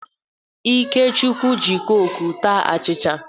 Ikechukwu ji kọkụ taa achịcha.